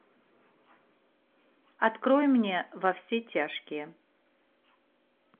открой мне во все тяжкие